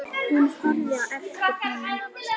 Ég linni ekki látum fyrr.